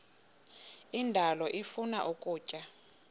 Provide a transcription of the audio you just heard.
indalo ifuna ukutya